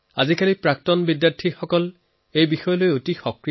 আজিকালি এলুমনাই ইয়াক লৈ বহুত সক্ৰিয়